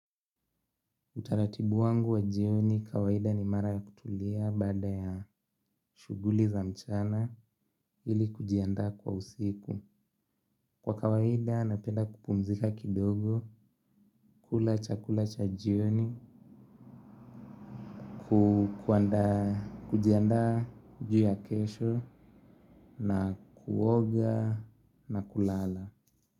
Utaratibu wangu wa jioni kawaida ni mara ya kutulia baada ya shughuli za mchana ili kujiandaa kwa usiku. Kwa kawaida napenda kupumzika kidogo, kula chakula cha jioni, kujiandaa juu ya kesho na kuoga na kulala.